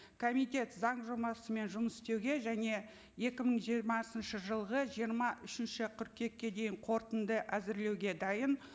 комитет заң жобасымен жұмыс істеуге және екі мың жиырмасыншы жылғы жиырма үшінші қыркүйекке дейін қорытынды әзірлеуге дайын